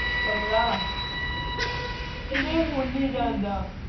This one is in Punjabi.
ਕਮਰਾ ਕਹਿੰਦੇ ਹੁਣ ਨੀ ਜਾਂਦਾ